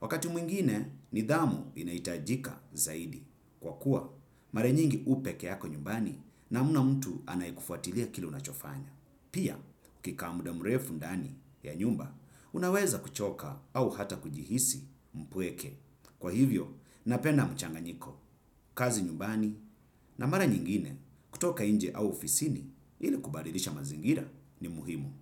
wakati mwingine, nidhamu inaitajika zaidi. Kwa kuwa, mara nyingi upekeyako nyumbani na muna mtu anayekufuatilia kile unachofanya. Pia ukika muda mrefu ndani ya nyumba unaweza kuchoka au hata kujihisi mpweke kwa hivo napenda mchanganyiku kazi nyumbani na mara nyingine kutoka nje au ofisini ili kubadilisha mazingira ni muhimu.